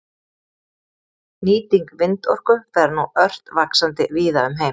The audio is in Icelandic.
Nýting vindorku fer nú ört vaxandi víða um heim.